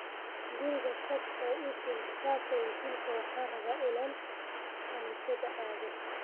Guriga tag oo ii keen kitabka injilka ,waxaan rabaa inaan kaniisad aado